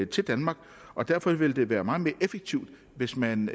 til danmark og derfor vil det være meget mere effektivt hvis man